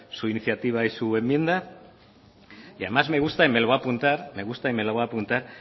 su iniciativa y su enmienda y además me gusta y me lo voy a apuntar me gusta y me lo voy a apuntar